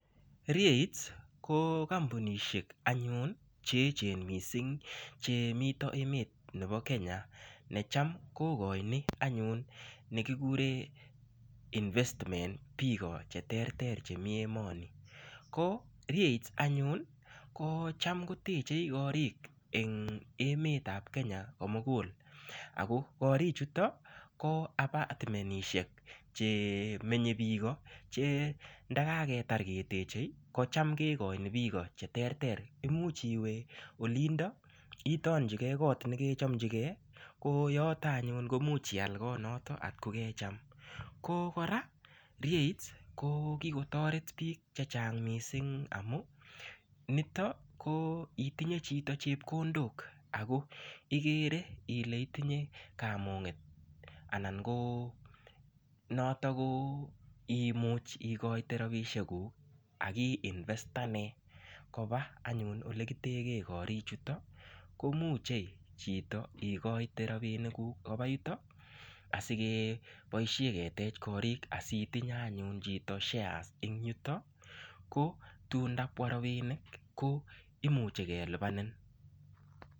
REITs ko kampunishek anyun cheechen mising chemito emet nebo Kenya necham kokoini anyun nekikure investment biko cheterter chemi emoni ko REITs anyun ko cham kotechei korik eng' emetab Kenya komugul ako korichuton ko apatmenishek che menyei biko che ndakaketar ketechei ko cham kekoini biko cheterter imuuch iwe olindo itonjikei kot nekechomchigeo ko yoto anyun komuch ial kot noto atko kecham ko kora REITs kokikotoret biik chechang' mising' amu nito ko itinye chito chepkondok ako ikere ile itinye kamuget anan ko noto imuch ikoite robishekuk akiinvetane koba anyun ole kiteke korichuto komuchei chito ikoite robinikuk koba yuto asikeboishe ketech korik asitinye anyun cheto shares eng' yuto ko tun ndabwa robinik ko imuche kelipanin